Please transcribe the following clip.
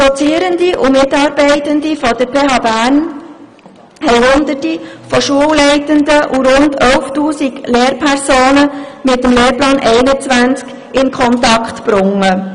Dozierende und Mitarbeitende der PHBern haben Hunderte von Schulleitenden und rund 11 000 Lehrpersonen mit dem Lehrplan 21 in Kontakt gebracht.